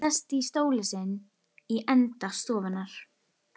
Sest í stólinn sinn í enda stofunnar.